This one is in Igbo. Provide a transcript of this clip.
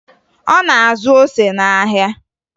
Ọ na-azụ ose n'ahịa